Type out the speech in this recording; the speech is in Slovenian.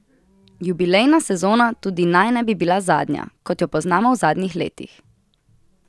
Jubilejna sezona tudi naj ne bi bila zadnja, kot jo poznamo v zadnjih letih.